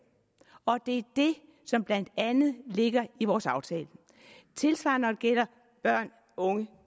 og det det som blandt andet ligger i vores aftale tilsvarende når gælder børn og unge